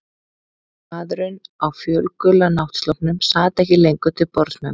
Maðurinn á fölgula náttsloppnum sat ekki lengur til borðs með mér.